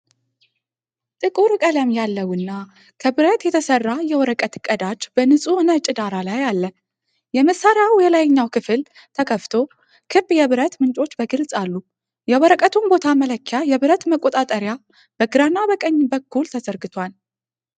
ጥቁር ቀለም ያለውና ከብረት የተሰራ የወረቀት ቀዳጅ በንፁህ ነጭ ዳራ ላይ አለ። የመሳሪያው የላይኛው ክፍል ተከፍቶ፣ ክብ የብረት ምንጮች በግልፅ አሉ። የወረቀቱን ቦታ መለኪያ የብረት መቆጣጠሪያ በግራና በቀኝ በኩል ተዘርግቶአል።